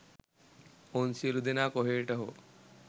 ඔවුන් සියලූ දෙනා කොහේට හෝ